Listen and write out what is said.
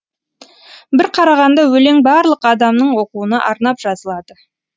бір қарағанда өлең барлық адамның оқуына арнап жазылады